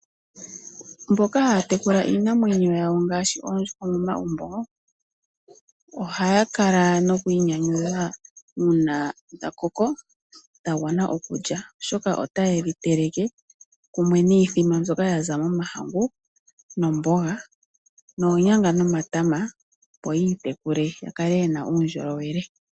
Mboka haa tekula iinamwenyo yawo ngaashi oondjuhwa momagumbo ohaya kala noku inyanyudha uuna dha koko fah gwana okulya oshoka otaye dhi teleke kumwe niithima mbyoka ya momahngu nomboga noonyanga nomatama opo yi itekule yakale yena uundjolowele.